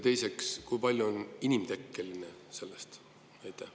Teiseks, kui palju sellest on inimtekkelist CO2?